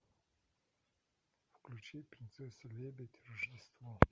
включи принцесса лебедь рождество